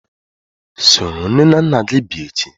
Soro nne na nna gi bia echi!